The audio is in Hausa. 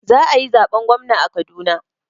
Za a yi zaben gwamna a Kaduna.